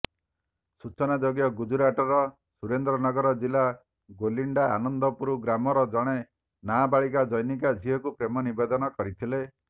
ସୂଚନାଯୋଗ୍ୟ ଗୁଜୁରାଟର ସୁରେନ୍ଦ୍ରନଗର ଜିଲା ଗୋଲିଣ୍ଡା ଆନନ୍ଦପୁର ଗ୍ରାମର ଜଣେ ନାବାଳକ ଜନୈକା ଝିଅକୁ ପ୍ରେମ ନିବେଦନ କରିଥିଲେ